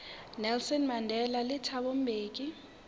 nelson mandela le thabo mbeki